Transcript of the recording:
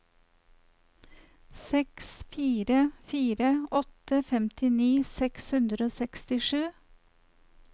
seks fire fire åtte femtini seks hundre og sekstisju